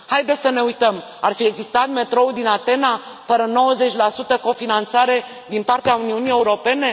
Haideți să ne uităm ar fi existat metroul din Atena fără 90 cofinanțare din partea Uniunii Europene?